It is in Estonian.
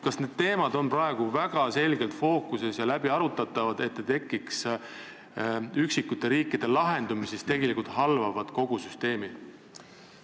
Kas need teemad on praegu väga selgelt fookuses ja need arutatakse läbi, et üksikutes riikides ei tekiks lahendusi, mis halvavad kogu süsteemi?